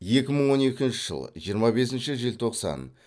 екі мың он екінші жыл жиырма бесінші желтоқсан